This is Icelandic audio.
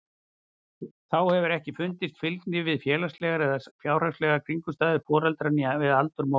Þá hefur ekki fundist fylgni við félagslegar eða fjárhagslegar kringumstæður foreldra né við aldur móður.